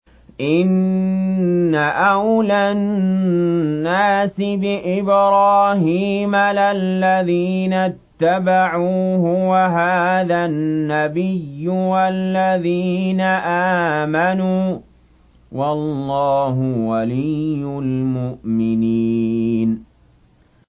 إِنَّ أَوْلَى النَّاسِ بِإِبْرَاهِيمَ لَلَّذِينَ اتَّبَعُوهُ وَهَٰذَا النَّبِيُّ وَالَّذِينَ آمَنُوا ۗ وَاللَّهُ وَلِيُّ الْمُؤْمِنِينَ